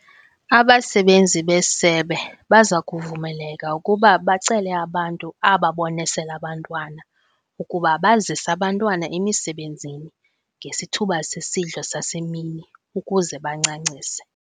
Abasebenzi besebe baza kuvumeleka ukuba bacele abantu ababonesela abantwana ukuba bazise abantwana emisebenzini ngesithuba sesidlo sasemini ukuze bancancise.